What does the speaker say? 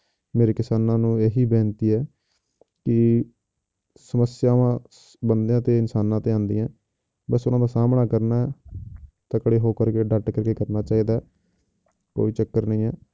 ਮੇਰੀ ਕਿਸਾਨਾਂ ਨੂੰ ਇਹੀ ਬੇਨਤੀ ਹੈ ਕਿ ਸਮੱਸਿਆਵਾਂ ਬੰਦਿਆਂ ਤੇ ਇਨਸਾਨਾਂ ਤੇ ਆਉਂਦੀਆਂ ਬਸ ਇਹਨਾਂ ਦਾ ਸਾਹਮਣਾ ਕਰਨਾ ਤਕੜੇ ਹੋ ਕਰਕੇ ਡਟ ਕੇ ਕਰਨਾ ਚਾਹੀਦਾ ਹੈ, ਕੋਈ ਚੱਕਰ ਨਹੀਂ ਹੈ।